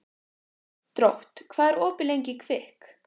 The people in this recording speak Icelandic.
Drótt, hvað er opið lengi í Kvikk?